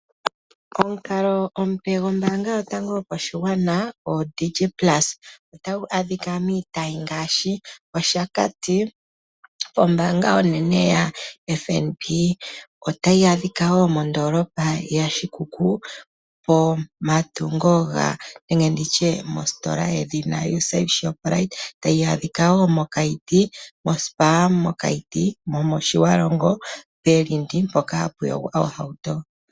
Omukalo omupe gombaanga yotango yopashigwana odigi plusa otagu adhika miitayi ngaashi, Oshakati. Ombaanga onene yaFNB otayi adhi ka woo mondoolopa yaShikuku pomatungo nenge nditye positola yedhina USave Shoprite, tayi adhika woo moSpar mOkaiti nomOtjiwarongo pelindi mpono hapu yogwa ohauto.